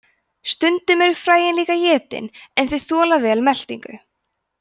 stundum eru fræin líka étin en þau þola vel meltingu